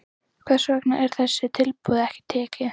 Hvers vegna var þessu tilboði ekki tekið?